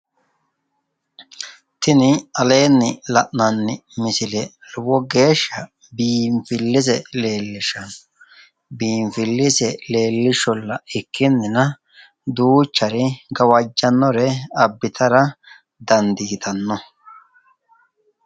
Tini aleenni la’nanni misile lowo geeshsha biinfillese leellishshanno biinfillese leellishsholla ikkinina duuchare gawajjannore abbitara dandiitanno.